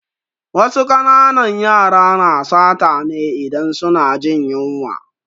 Wasu ƙananan yara na sata ne idan suna jin yunwa